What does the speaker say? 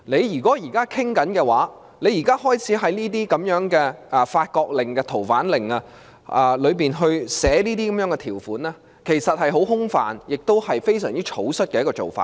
如果當局現時已開始討論，並在《逃犯令》中寫下如此這般的條款，其內容其實是很空泛的，亦是非常草率的做法。